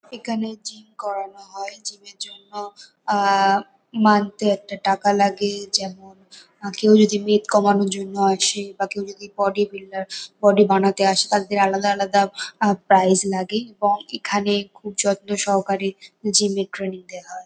এখানে জিম করানো হয়। জিম -এর জন্য আ মান্থ -এ একটা টাকা লাগে। যেমন- কেউ যদি মেধ কমানোর জন্য আসে বা কেউ যদি বডি বিল্ডার বডি বানাতে আসে তাদের আলাদা আলাদা আ প্রাইস লাগে এবং এখানে খুব যত্ন সহকারে জিম -এর ট্রেনিং দেওয়া হয়।